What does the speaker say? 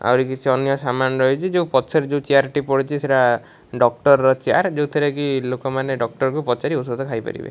ଆହୁରି କିଛି ଅନ୍ୟ ସାମାନ ରହିଛି ଯୋଉ ପଛରେ ଯୋଉ ଚିୟାର ଟି ପଡ଼ିଚି ସେଟା ଡକ୍ଟର ର ଚିୟାର୍ ଯାଉଥିରେ କି ଲୋକମାନେ ଡକ୍ଟର କୁ ପଚାରି ଔଷଧ ଖାଇ ପାରିବେ।